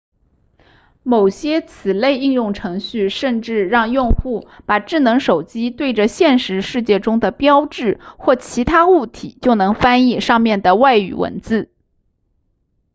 某些此类应用程序甚至让用户把智能手机对着现实世界中的标志或其他物体就能翻译上面的外语文字